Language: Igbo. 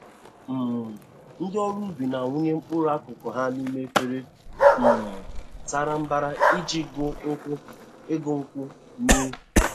um Ndị ọrụ ubi na-awụnye mkpụrụ akụkụ ha n'ime efere um sara mbara e ji igu nkwụ igu nkwụ mee.